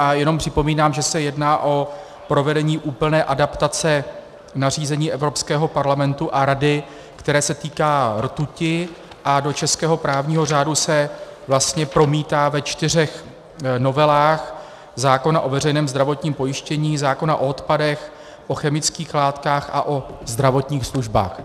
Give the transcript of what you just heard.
A jenom připomínám, že se jedná o provedení úplně adaptace nařízení Evropského parlamentu a Rady, které se týká rtuti, a do českého právního řádu se vlastně promítá ve čtyřech novelách zákona o veřejném zdravotním pojištění, zákona o odpadech, o chemických látkách a o zdravotních službách.